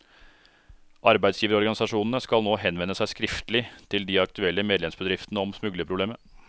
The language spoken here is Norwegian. Arbeidsgiverorganisasjonene skal nå henvende seg skriftlig til de aktuelle medlemsbedriftene om smuglerproblemet.